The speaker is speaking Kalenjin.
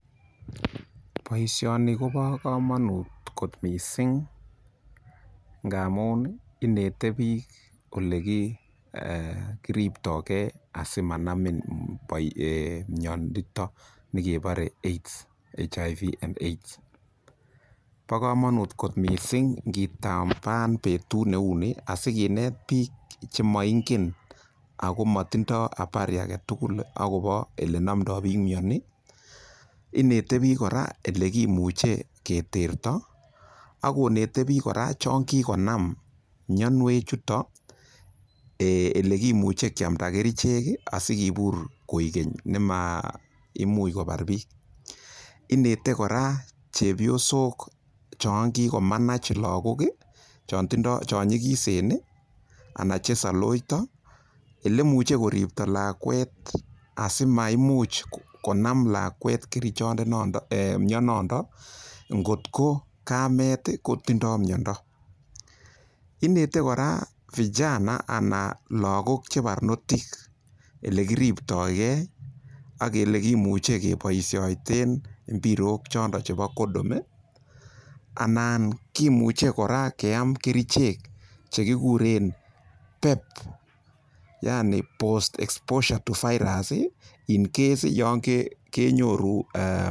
Boisioni kobo komonut kot mising, ngamun inete biik ole kiriptoge asimanamin miondo ni kebore HIV/AIDS. Bo komonut kot mising ingitaban betut neu ni asikinet biik chemoingen ago motindo habari agetugul agobo ole nomdo biik mioni. Inete biik kora ele kimuche keterto ak konete biik kora chon kigonam mionewechuto ele kimuche kyamda kerichek asikibur koigeny nemaimuch kobar biik. Inete kora chepyosok chon kigomanach lagok, chon nyikisen ana che saloito ele imuche koripto lakwet asimaimuch konam lakwet mionondon, ngotko kamet kotindo miondo. Inete kora vijana ana lagok che barnotik ele kiripto ge ak ele kimuche keboisioito mbirok choto chebo condom anan kimuche kora keam kerichek che kikuren PEP yani Post Exposure Prophylaxis to virus yon kenyoru.